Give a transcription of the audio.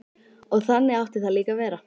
Og þannig átti það líka að vera.